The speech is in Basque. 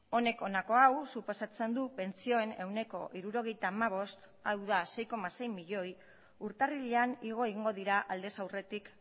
honek honako hau suposatzen du pentsioen ehuneko hirurogeita hamabost hau da sei koma sei milioi urtarrilean igo egingo dira aldez aurretik